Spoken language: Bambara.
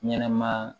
Ɲɛnɛma